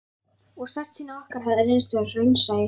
Og svartsýni okkar hafði reynst vera raunsæi.